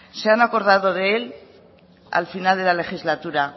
se han acordado de él al final de la legislatura